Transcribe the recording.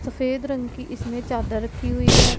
सफेद रंग की इसमें चादर रखी हुईं हैं।